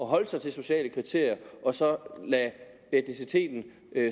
holde sig til sociale kriterier og så lade etniciteten